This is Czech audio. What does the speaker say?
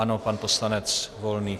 Ano, pan poslanec Volný.